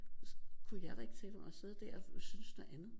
Kunne jeg da ikke tillade mig at sidde der og synes noget andet